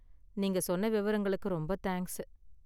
நீங்க சொன்ன விவரங்களுக்கு ரொம்ப தேங்க்ஸ்சு